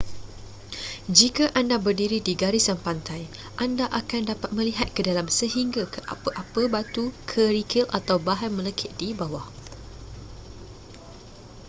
jika anda berdiri di garisan pantai anda akan dapat melihat ke dalam sehingga ke apa-apa batu kerikil atau bahan melekit di bawah